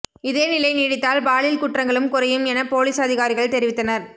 இதே நிலை நீடித்தால் பாலியல் குற்றங்களும் குறையும் என போலீஸ் அதிகாரிகள் தெரிவித்தனர்